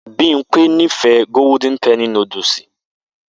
Bimpe nífẹ̀ẹ́ golden penny núdúsì